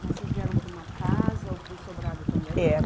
Mas vocês vieram para uma casa ou para um sobrado também? É